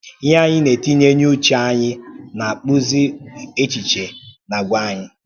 Ihe anyị na-etinye n’uche anyị na-akpụzi echiche na àgwà anyị.